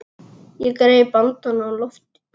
Ég greip andann á lofti.